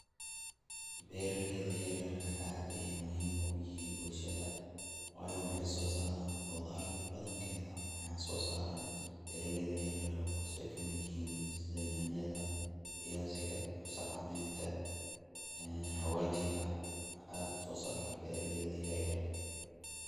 Beera leyda yaar yarka ah aad ay muhiim uguyihiin bulshadha wayo waxay sosaaran qodharka badhan kedha waxa sosaraan bera leyda yar yarka kuwaas ooy kamiid yahiin sidhii yanyadha, fiyaziga, kab saar caleynka, xawajigawaxa aad usosaroo beeraleyda yar yarka.